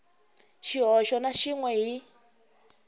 xihoxo na xin we hi